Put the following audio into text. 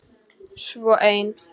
Svo ein.